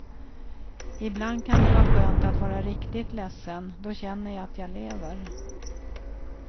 Ibland kan det vara skönt att vara riktigt ledsen, då känner jag att jag lever.